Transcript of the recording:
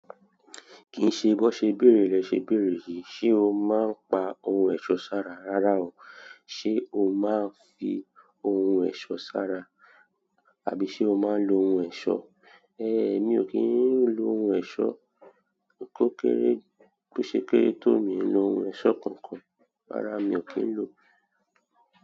Kìí ṣe bó ṣe béèrè, lẹ ṣe béèrè yìí, ṣe o máa ń pa ohun ẹ̀ṣọ́ sára rárá o. Ṣe o máa ń fi ohun ẹ̀ṣọ́ sára, àbí ṣe o máa ń lo ohun ẹ̀ṣọ́? Ehn, èmi ò kí ń lo ohun ẹ̀ṣọ́. Ǹkókéré kò ṣe kéré tó mi lo ohun ẹ̀ṣọ́ kankan. Rárá, mi ò kí ń lo.